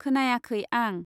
खोनायाखै आं।